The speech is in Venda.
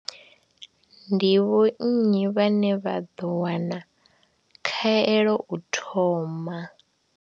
Ndi vho nnyi vhane vha ḓo wana khaelo u thoma?